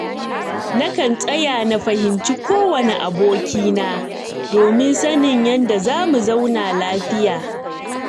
Nakan tsaya na fahimci kowane abokina, domin sanin yadda za mu zauna lafiya.